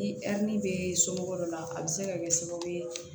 Ni a ni bɛ somɔgɔw dɔ la a bɛ se ka kɛ sababu ye